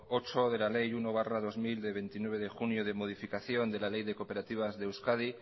ocho de la ley uno barra dos mil de veintinueve de junio de modificación de la ley de cooperativas de euskadi